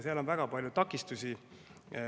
Seal on väga palju takistusi.